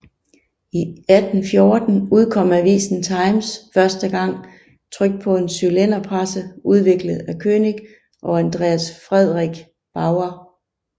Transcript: I 1814 udkom avisen Times første gang trykt på en cylinderpresse udviklet af König og Andreas Friedrich Bauer